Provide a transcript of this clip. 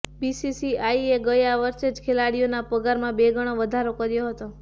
બીસીસીઆઈએ ગયા વર્ષે જ ખેલાડીઓના પગારમાં બે ગણો વધારો કર્યો હતો